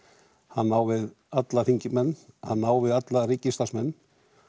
hann á við alla þingmenn hann á við alla ríkisstarfsmenn